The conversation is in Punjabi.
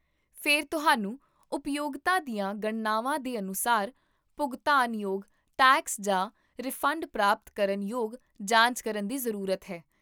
ਫਿਰ ਤੁਹਾਨੂੰ ਉਪਯੋਗਤਾ ਦੀਆਂ ਗਣਨਾਵਾਂ ਦੇ ਅਨੁਸਾਰ ਭੁਗਤਾਨਯੋਗ ਟੈਕਸ ਜਾਂ ਰਿਫੰਡ ਪ੍ਰਾਪਤ ਕਰਨ ਯੋਗ ਜਾਂਚ ਕਰਨ ਦੀ ਜ਼ਰੂਰਤ ਹੈ